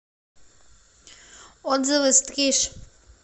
отзывы стриж